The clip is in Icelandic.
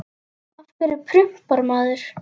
Af hverju prumpar maður?